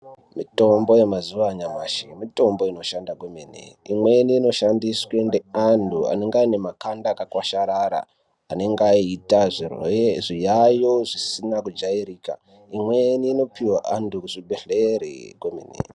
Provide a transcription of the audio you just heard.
Mitombo yemazuwa anyamashi mitombo inoshanda kwemene. Imweni inoshandiswe ngeantu vanonga vane makanda akakwasharara enenge eiita zviyayo zvisina kujairika. Imweni inopiwa vantu kuzvibhedhleri kwemene.